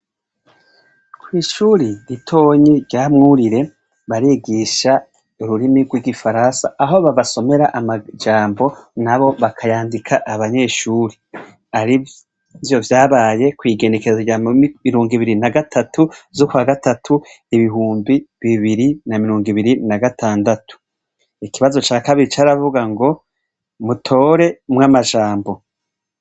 Kw'ishuri ritonyi ryamwurire barigisha ururimi rw'igifaransa aho babasomera amajambo na bo bakayandika abanyeshuri arivyo vyabaye kw'igenekezo rya mu mirungo ibiri na gatatu zo kwa gatatu ibihumbi bibiri na mirungo ibiri na gatandatu ikibazo ca kabiri caravuga ngo mutore umwe amajambo.